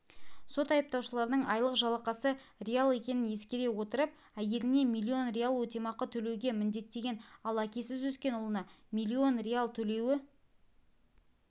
сот айыпталушының айлық жалақысы риал екенін ескере отырып әйеліне миллион риал өтемақы төлеуге міндеттеген ал әкесіз өскен ұлына миллион риал төлеуі